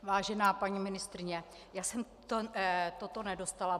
Vážená paní ministryně, já jsem to nedostala.